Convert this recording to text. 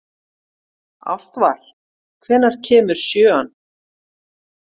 Ástvar, hvenær kemur sjöan?